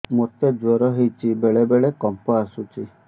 ମୋତେ ଜ୍ୱର ହେଇଚି ବେଳେ ବେଳେ କମ୍ପ ଆସୁଛି